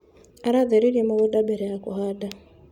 Aratheririe mũgũnda mbere ya kũhanda.